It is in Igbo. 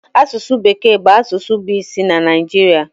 Asụsụ bekee bụ asụsụ bụ isi na Naịjirịa